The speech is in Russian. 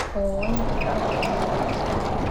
ооо интеграл где находится